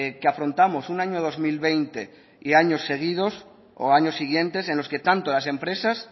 que afrontamos un año dos mil veinte y años seguidos o años siguientes en los que tanto las empresas